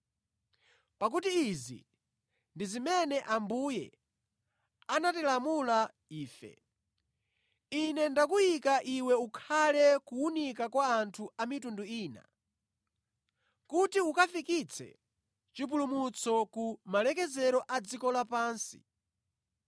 Pakuti izi ndi zimene Ambuye anatilamula ife: “ ‘Ine ndakuyika iwe ukhale kuwunika kwa anthu a mitundu ina, kuti ukafikitse chipulumutso ku malekezero a dziko lapansi!’ ”